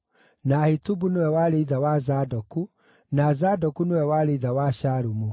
na Ahitubu nĩwe warĩ ithe wa Zadoku, na Zadoku nĩwe warĩ ithe wa Shalumu,